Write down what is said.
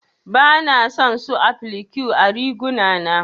Bana son su applique ã riguna na.